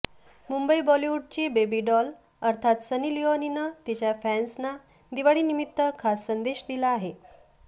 मुंबई बॉलिवूडची baby doll अर्थात Sunny लिओनीनं तिच्या फॅन्सना दिवाळीनिमित्त खास संदेश दिला आहे